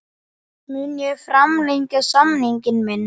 Mun ég framlengja samning minn?